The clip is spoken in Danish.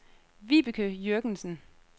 Vibeke Jürgensen